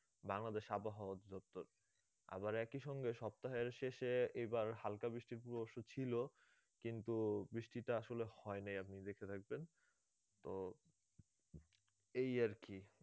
বাংলাদেশ আবহাওয়া অধিদপ্তর আবার একই সঙ্গে সপ্তাহের শেষে এবার হালকা বৃষ্টির পূর্বাভাস ও ছিল কিন্তু বৃষ্টিটা আসলে হয় নাই আপনি দেখে থাকবেন তো এই আর কি